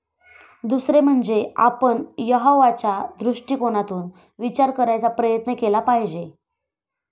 दुसरे म्हणजे आपण यहोवाच्या दृष्टिकोनातून विचार करायचा प्रयत्न केला पाहिजे.